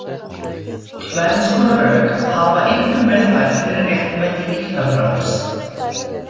Tvenns konar rök hafa einkum verið færð fyrir réttmæti líknardráps.